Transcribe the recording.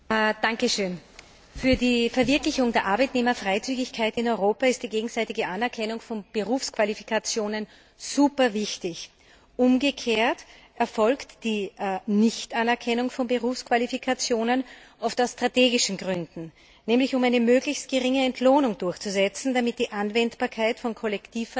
Frau Präsidentin! Für die Verwirklichung der Arbeitnehmerfreizügigkeit in Europa ist die gegenseitige Anerkennung von Berufsqualifikationen superwichtig. Umgekehrt erfolgt die Nichtanerkennung von Berufsqualifikationen oft aus strategischen Gründen, nämlich um eine möglichst geringe Entlohnung durchzusetzen, damit die Anwendbarkeit von Kollektivverträgen